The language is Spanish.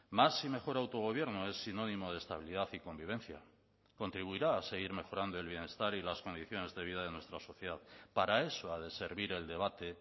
más y mejor autogobierno es sinónimo de estabilidad y convivencia contribuirá a seguir mejorando el bienestar y las condiciones de vida de nuestra sociedad para eso ha de servir el debate